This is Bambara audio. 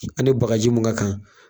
A ni baga ji mun ka kan.